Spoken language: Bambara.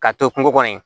K'a to kungo kɔnɔ yen